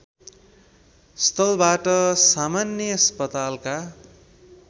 स्थलबाट सामान्य अस्पतालका